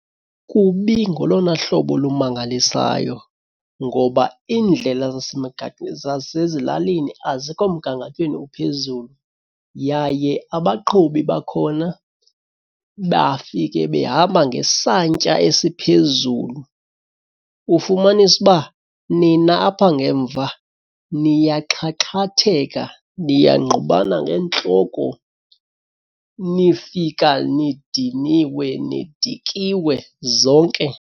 Kubi ngolona hlobo lumangalisayo ngoba iindlela zasezilalini azikho mgangathweni uphezulu. Yaye abaqhubi bakhona bafike behamba ngesantya esiphezulu ufumanise uba nina apha ngemva niyaxhaxhatheka niyangqubana ngeentloko nifika nidiniwe nidikiwe zonke.